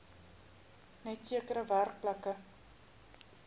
net sekere werkplekke